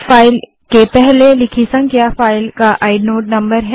file के पहले लिखी संख्या फ़ाइल का आइनोड नंबर है